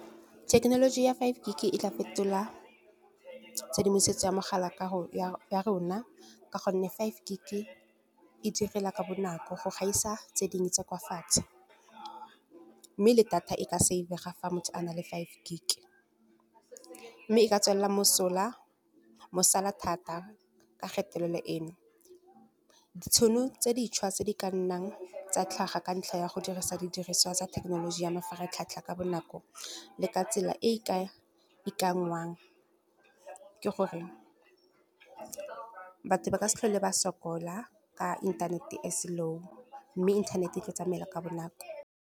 Thekenoloji ya five gig e tla fetola tshedimosetso ya mogala ya rona, ka gonne five gig e e direla ka bonako go gaisa tse dingwe tsa kwa fatshe. Mme le data e ka save-ga, fa motho a na le five gig, mme e ka tswela mosola thata ka phetelelo eno. Ditšhono tse dišwa tse di ka nnang tsa tlhaga ka ntlha ya go dirisa didiriswa tsa thekenoloji ya mafaratlhatlha ka bonako, le ka tsela e e ka ikanngwang ke gore, batho ba ka se tlhole ba sokola ka inthanete e slow, mme internet e tlo tsamaela ka bonako.